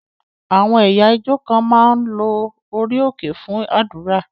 Àwọn ẹ̀yà ìjọ kan máa ń lo orí òkè fún àdúrà.